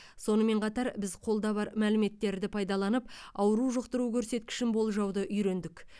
сонымен қатар біз қолда бар мәліметтерді пайдаланып ауру жұқтыру көрсеткішін болжауды үйрендік